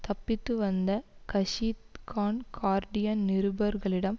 தப்பித்து வந்த கஷீத் கான் கார்டியன் நிருபர்களிடம்